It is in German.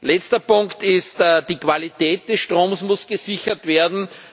Letzter Punkt Die Qualität des Stroms muss gesichert werden.